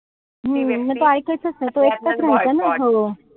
हम्म म तो इकायचाच नाई. तो एकटाच राहायचा ना सगळं.